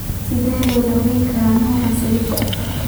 Sidee loo daweyn karaa nooca sialidosika?